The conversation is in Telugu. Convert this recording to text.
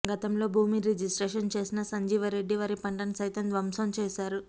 గతంలో భూమి రిజిస్ట్రేషన్ చేసిన సంజీవరెడ్డి వరిపంటను సైతం ధ్వంసం చేశారు